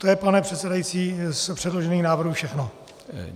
To je, pane předsedající, z předložených návrhů všechno.